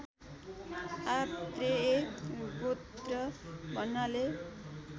आत्रेय गोत्र भन्नाले